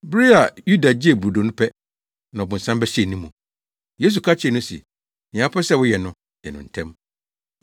Bere a Yuda gyee brodo no pɛ, na ɔbonsam bɛhyɛɛ ne mu. Yesu ka kyerɛɛ no se, “Nea wopɛ sɛ woyɛ no, yɛ no ntɛm!”